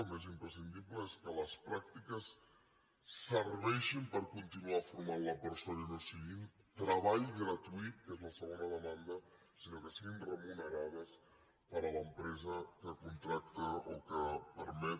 el més imprescindible és que les pràctiques serveixin per continuar formant la persona i no siguin treball gratuït que és la segona demanda sinó que siguin remunerades per l’empresa que contracta o que permet